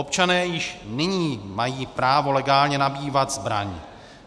Občané již nyní mají právo legálně nabývat zbraň.